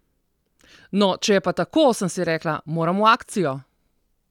No, če je pa tako, sem si rekla, moram v akcijo!